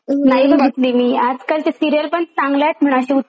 नाही बघितली मी आजकाल ते सिरीयल पण चांगल्यात म्हणा अशा